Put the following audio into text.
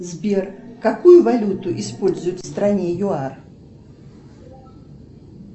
сбер какую валюту используют в стране юар